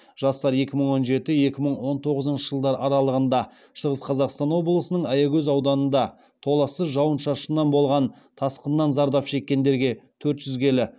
жастар екі мың он жеті екі мың он тоғызыншы жылдар аралығында шығыс қазақстан облысының аягөз ауданында толассыз жауын шашыннан болған тасқыннан зардап шеккендерге келі